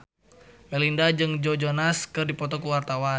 Melinda jeung Joe Jonas keur dipoto ku wartawan